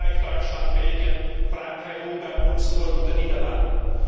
in Österreich, Deutschland, Belgien, Frankreich, Ungarn, Luxemburg und den Niederlanden.